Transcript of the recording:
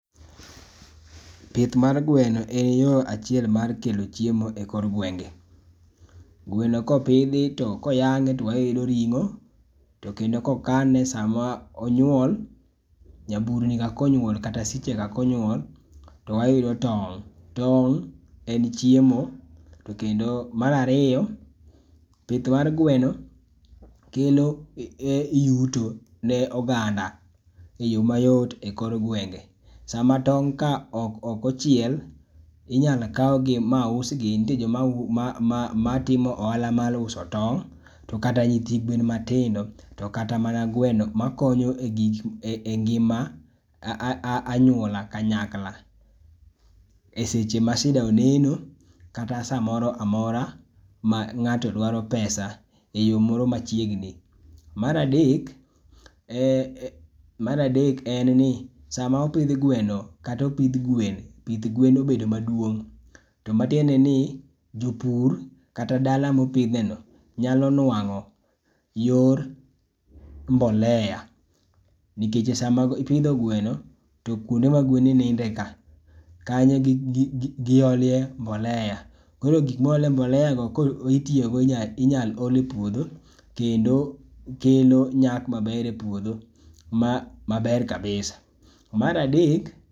pith mar gweno en yo achiel mar kelo chiemo e kor gwenge gweno ka opidhi ka oyang'e to wayudo ringo, to kendo ka okane sa ma onyuol, nyaburni ka kata siche ka ka onyuol to wayudo tong',tong' en chiemo to kendo mar ariyo pith mar gweno kelo yuto ne oganda e yo ma yot e kor gwenge. Saa ma tong' ka ok ochiel inyalo kau gi ma usgi nitie jo ma timo ohala mar uso tong' to kata ma na nyithi gweno matindo, to kata mana gweno ma konyo e gik e ngima ma anyuola kanyakla e seche ma shida oneno kata sa moro mora ma ng'ato dwaro pesa e yo moro machiegni .Mar adek ,e mar adek en ni saa ma opidh gweno kata opidh gwen, pith gwen obed ma duong ma tiende ni jopur kata dala ma opidhe no nyalo nwango yor mbolea nikech sa ma ipidho gweno to kuonde ma gwen ninde ka kanyo gi ole mbolea. Koro gik ma oole mbolea go inya lee pudho kendo kelo nyak ma ber puodho ma ber kabisa, mar adek.